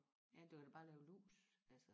ja du kan da bare lave lus altså